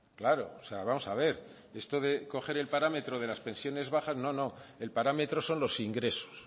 claro vamos a ver esto de coger el parámetro de las pensiones bajas no no el parámetro son los ingresos